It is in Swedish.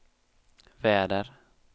väder